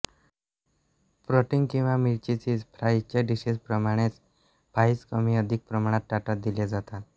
protein किंवा मिरची cheese फ्राइझच्या डिशेसप्रमाणेच फ्राईज कमी अधिक प्रमाणात ताटात दिल्या जातात